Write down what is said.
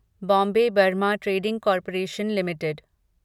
Bombay Burmah trading corporation limited